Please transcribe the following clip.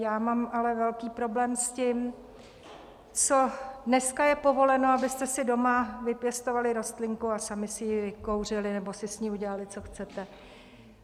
Já mám ale velký problém s tím, co dneska je povoleno: abyste si doma vypěstovali rostlinku a sami si ji vykouřili nebo si s ní udělali, co chcete.